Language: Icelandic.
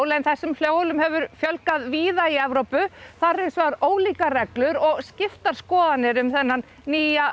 en þessum hjólum hefur fjölgað víða í Evrópu þar eru hins vegar ólíkar reglur og skiptar skoðanir um þennan nýja